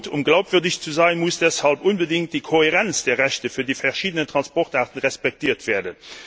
Um glaubwürdig zu sein, muss deshalb unbedingt die Kohärenz der Rechte für die verschiedenen Transportarten respektiert werden.